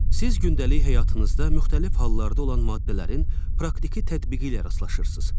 Siz gündəlik həyatınızda müxtəlif hallarda olan maddələrin praktiki tətbiqi ilə rastlaşırsız.